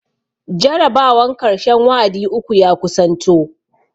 Jarabawan karshen wa'adi uku ya kusanto